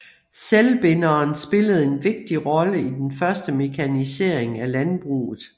Selvbinderen spillede en vigtig rolle i den første mekanisering af landbruget